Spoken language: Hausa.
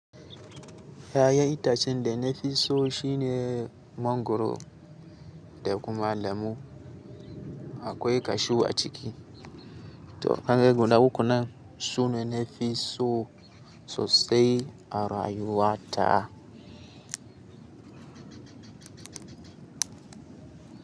Kayan itacen da na fi so shine mangwaro, da kuma lemu. Akwai kashew a ciki. To, ka ga guda ukun nan? Sune na fi so sosai a rayuwa ta.